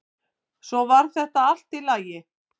Svo varð þetta allt í lagi.